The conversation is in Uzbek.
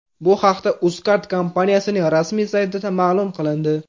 Bu haqda Uzcard kompaniyasining rasmiy saytida ma’lum qilindi .